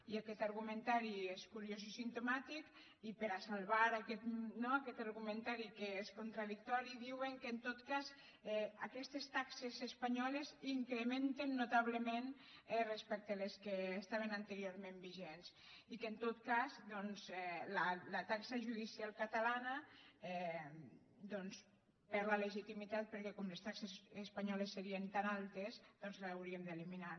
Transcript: i aquest argumentari és curiós i simptomàtic i per a salvar no aquest argumentari que és contradictori diuen que aquestes taxes espanyoles s’incrementen notablement respecte a les que estaven anteriorment vigents i que la taxa judicial catalana perd la legitimitat perquè com les taxes espanyoles serien tan altes doncs l’hauríem d’eliminar